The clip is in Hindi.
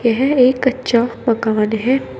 यह एक कच्चा मकान है।